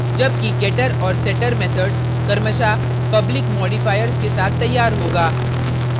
जबकि getter और setter methods क्रमशः public modifiers के साथ तैयार होगा